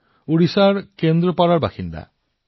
বিজয় জী ওড়িশাৰ কেন্দ্ৰপাৰাৰ বাসিন্দা